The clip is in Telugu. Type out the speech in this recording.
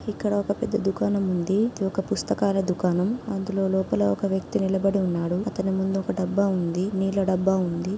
ఇక్కడ ఒక పెద్ద ధూకనం ఉంది. ఇది ఒక పుస్తకాలు ధూకనం. అంధులో లోపల ఒక వ్యక్తి నిలబడి ఉన్నాడు. ఆతని ముందు ఒక డబ్బా ఉంది నీళ్ళ డబ్బా ఉంది.